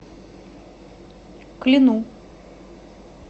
клину